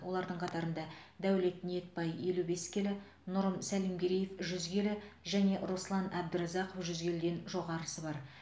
олардың қатарында дәулет ниетбай елу бес келі нұрым сәлімгереев жүз келі және руслан әбдіразақов жүз келіден жоғарысы бар